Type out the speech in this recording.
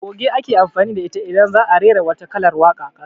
Goge ake amfani da ita idan za'a rera wata kalar waka